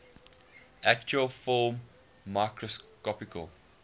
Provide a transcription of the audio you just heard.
actual film microscopically